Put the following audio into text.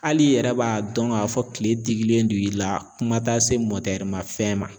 Hali i yɛrɛ b'a dɔn k'a fɔ kile dikilen don i la kuma tɛ se mafɛn ma.